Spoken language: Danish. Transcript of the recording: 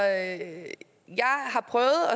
at